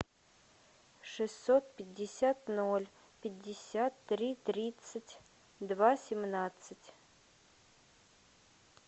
шестьсот пятьдесят ноль пятьдесят три тридцать два семнадцать